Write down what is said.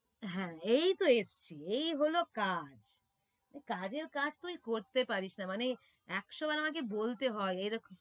হ্যাঁ, এইতো এসছে এই হলো কাজ কাজের কাজ তুই করতে পারিস না মানে একশো বার আমাকে বলতে হয়, এরকম